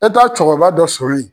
E taa cɛkɔrɔba dɔ sɔrɔ yen.